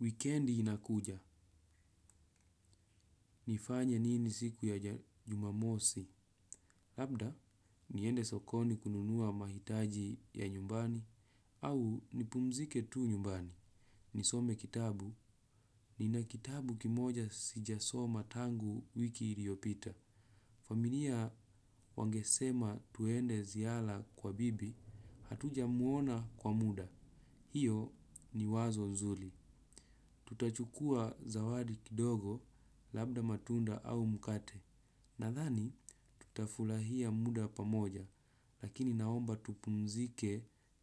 Wikendi inakuja. Nifanye nini siku ya jumamosi? Labda, niende sokoni kununua mahitaji ya nyumbani. Au, nipumzike tu nyumbani. Nisome kitabu. Nina kitabu kimoja sijasoma tangu wiki iliyopita. Familia wangesema tuende ziara kwa bibi. Hatujamwona kwa muda. Hiyo ni wazo nzuri. Tutachukua zawadi kidogo labda matunda au mkate. Nadhani tutafurahia muda pamoja lakini naomba tupumzike